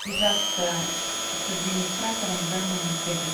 связаться с администратором в данном отеле